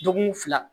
Dɔgɔkun fila